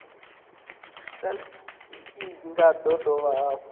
cbnrm i nga dovha hafhu